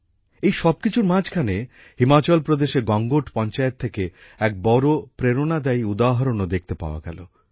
এই সবকিছুর মাঝখানে হিমাচল প্রদেশের গঙ্গোট পঞ্চায়েত থেকে এক বড় প্রেরণাদায়ী উদাহরণও দেখতে পাওয়া গেল